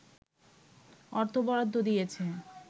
অর্থ বরাদ্দ দিয়েছে